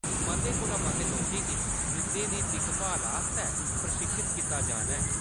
मते कोला मते लोकें गी ब्रिद्धें दी दिक्खभाल आस्तै प्रशिक्षत कीता जाना ऐ।